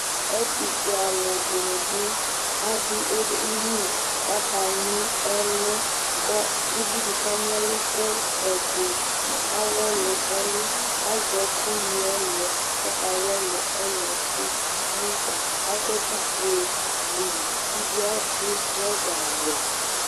ɛtufué alũ dɩnɩ ɓɩ adu édini kakaɲi ɛlö kõ ụvidi kaɲi ɛlukö ɛdi awõli ɛlu azɛkuŋɛluɛ kõkawõli ɛluɛ kụ ayukpa akõ ɛkufué dui uvi adu trõza wɛ